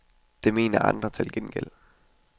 Det mener andre til gengæld.